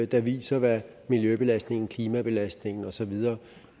der viser hvad miljøbelastningen klimabelastningen osv